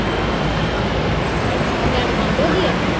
ਹੋਰ ਸੁਣਾਓ। ਲਾਈਟ ਬੰਦ ਹੋ ਗਈ ਆ।